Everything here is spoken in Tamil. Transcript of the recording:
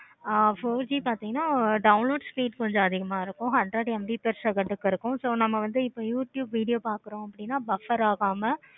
ஆஹ் four G பார்த்தீங்கன்னா download speed கொஞ்சம் அதிகமா இருக்கும். hundred MB plus second க்கு இருக்கும். youtube video பார்க்குறோம்னா buffer ஆகமா